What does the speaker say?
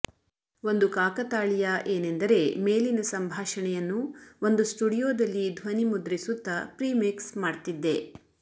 ಒಂದು ಕಾಕತಾಳೀಯ ಏನೆಂದರೆ ಮೇಲಿನ ಸಂಭಾಷಣೆಯನ್ನು ಒಂದು ಸ್ಟುಡಿಯೋದಲ್ಲಿ ದ್ವನಿಮುದ್ರಿಸುತ್ತಾ ಪ್ರಿಮಿಕ್ಸ್ ಮಾಡ್ತಿದ್ದೆ